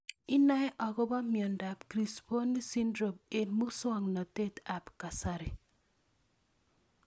Inae akopo miondop Crisponi syndrome eng' muswog'natet ab kasari